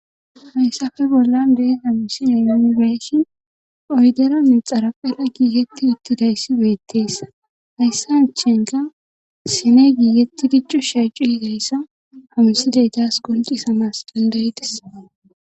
Hayssappe bollan deesa misine yooni beeshin oyderanne xaraphela giiketti uttidayssi beettees hayssa achenka sine giigetti diccu shaacu higayssa hamsiley daas qoncisamas dandayides.